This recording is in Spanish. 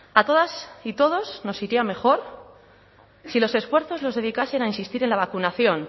a todas y todos nos iría mejor si los esfuerzos los dedicasen a insistir en la vacunación